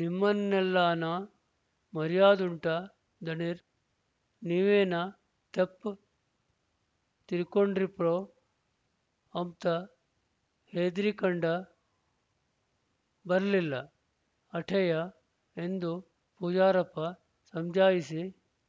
ನಿಮ್ಮನ್ನೆಲ್ಲಾನ ಮರ್ಯಾದುಂಟಾ ದಣೇರ್ ನೀವೇನ ತಪ್ ತಿಳ್ಕಂಡಿವ್ರೊ ಅಂಬ್ತ ಹೆದ್ರಿಕಂಡ ಬರ್ಲಿಲ್ಲ ಆಟೇಯ ಎಂದು ಪೂಜಾರಪ್ಪ ಸಮಜಾಯಿಷಿ